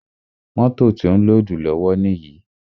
Mótò ti ó ń lódùù lọ́wọ́ níyì.